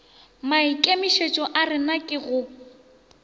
maikemišetšo a rena ke go